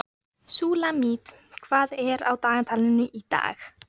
Súlamít, hvað er á dagatalinu í dag?